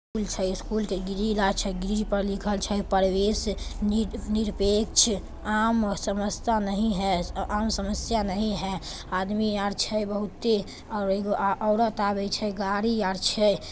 School छई school के grill अ छई ग्रिल पे लिखल छई प्रवेश निक्षेप आम समस्या नही है आम समस्या नही है आदमी आर छई बहुत और एगो औरत आगे छे और गाड़ी आई छे।